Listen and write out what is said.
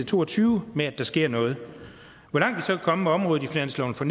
to og tyve med at der sker noget hvor langt vi så kan komme med området i finansloven for